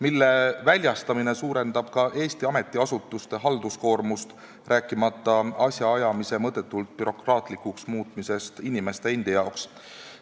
Nende väljastamine suurendab Eesti ametiasutuste halduskoormust, rääkimata asjaajamise mõttetult bürokraatlikuks muutmisest inimeste jaoks.